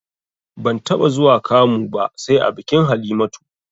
Ban taɓa zuwa kamu ba sai a bikin Halimatu